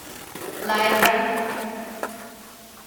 лайбра